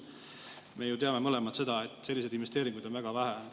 Me ju teame mõlemad seda, et selliseid investeeringuid on väga vähe.